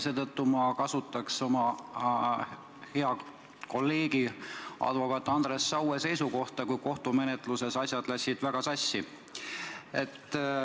Seetõttu ma lähtuks oma hea kolleegi advokaat Andres Saue seisukohast, kui kohtumenetluses asjad läksid väga sassi.